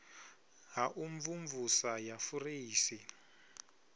ha u mvumvusa ya fureisi